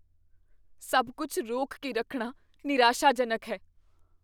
ਸਭ ਕੁੱਝ ਰੋਕ ਕੇ ਰੱਖਣਾ ਨਿਰਾਸ਼ਾਜਨਕ ਹੈ।